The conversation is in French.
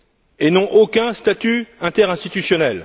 et n'ont aucun statut interinstitutionnel.